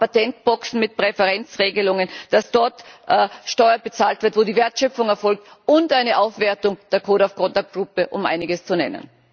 Aber auch Patentboxen mit Präferenzregelungen, dass dort Steuer bezahlt wird, wo die Wertschöpfung erfolgt, und eine Aufwertung der Code of Conduct Gruppe um nur einiges zu nennen.